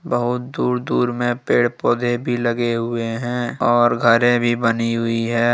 बहुत दूर दूर में पेड़ पौधे भी लगे हुए हैं और घरे भी बनी हुई है।